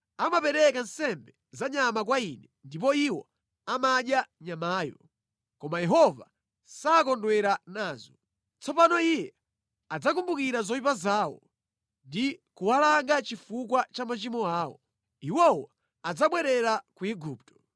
Amapereka nsembe za nyama kwa Ine ndipo iwo amadya nyamayo, koma Yehova sakondwera nazo. Tsopano Iye adzakumbukira zoyipa zawo ndi kuwalanga chifukwa cha machimo awo: iwowo adzabwerera ku Igupto.